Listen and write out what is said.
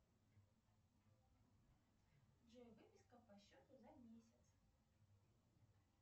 джой выписка по счету за месяц